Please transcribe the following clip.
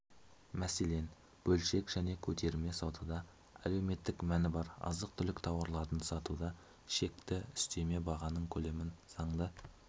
мәселен бөлшек және көтерме саудада әлеуметтік мәні бар азық-түлік тауарларын сатуда шекті үстеме бағаның көлемін заңды